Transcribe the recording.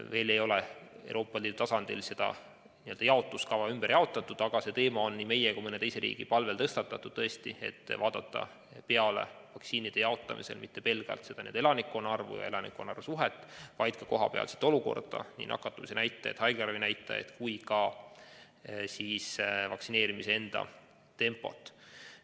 Veel ei ole Euroopa Liidu tasandil seda jaotuskava ümber tehtud, aga see teema on nii meie kui ka mõne teise riigi palvel tõstatatud, et vaktsiinide jaotamisel ei vaadataks mitte pelgalt elanike arvu suhet, vaid ka kohapealset olukorda, sh nii nakatumise näitajad, haiglaravi näitajaid kui ka vaktsineerimise tempot.